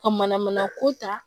Ka mana mana ko ta